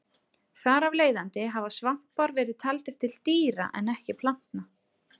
Þar af leiðandi hafa svampar verið taldir til dýra en ekki plantna.